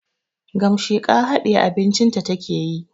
Gamasheka hadiye abincin ta take yi